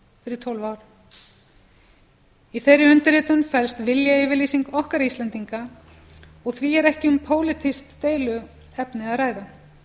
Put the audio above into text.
fyrir tólf árum í þeirri undirritun felst viljayfirlýsing okkar íslendinga á því er ekki um pólitískt deiluefni að ræða